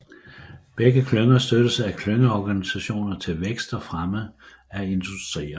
Begge klynger støttes af klyngeorganisationer til vækst og fremme af industrierne